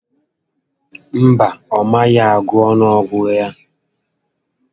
Mba, ọ mabeghị agụ ọnụọgụ ya